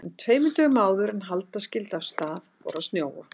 En tveimur dögum áður en halda skyldi af stað fór að snjóa.